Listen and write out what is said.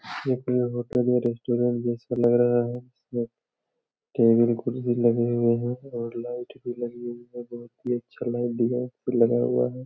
एक ये होटल ये रेस्टोरेंट जैसे लग रहा है टेबल कुर्सी लगे हुए हैं और लाइट भी लगी हुई है बहुत ही अच्छा लाइट डिजाईन लगा हुआ है।